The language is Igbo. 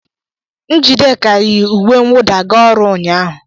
Njideka yi uwe mwụda ga ọrụ ụnyahụ.